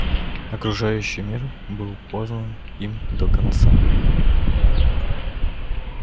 окружающий мир был познан им до конца